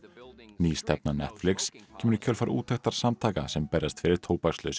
ný stefna Netflix kemur í kjölfar úttektar samtaka sem berjast fyrir